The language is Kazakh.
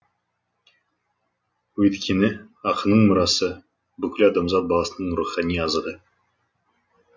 өйткені ақынның мұрасы бүкіл адамзат баласының рухани азығы